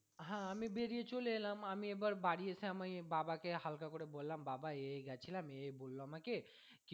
হ্যাঁ আমি বেরিয়ে চলে এলাম আমি এবার বাড়ি এসে আমি বাবা কে হালকা করে বললাম বাবা এই এই গিয়েছিলাম এই এই বললো আমাকে